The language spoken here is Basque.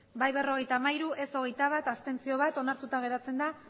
bai berrogeita hamairu ez hogeita bat abstentzioak bat onartuta geratzen da